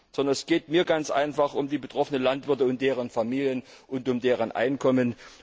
Sondern es geht mir ganz einfach um die betroffenen Landwirte und deren Familien und um deren Einkommen.